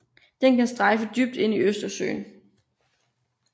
Den kan strejfe dybt ind i Østersøen